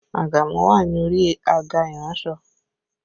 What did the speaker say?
Àgàmú wà ní orí àga iransọ